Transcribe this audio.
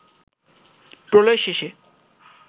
প্রলয় শেষে